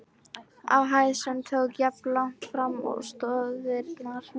á hæð, sem tók jafnlangt fram og stoðirnar.